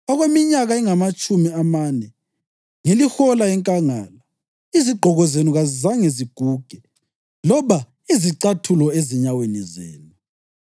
Okweminyaka engamatshumi amane ngilihola enkangala, izigqoko zenu kazizange ziguge, loba izicathulo ezinyaweni zenu.